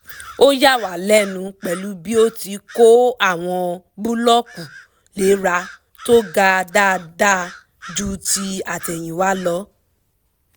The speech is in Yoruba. ó yà wá lẹ́nu pẹ̀lú bí ó ti kó àwọn búlọ́kù léra tó ga dáadáa ju ti àtẹ̀yìnwá lọ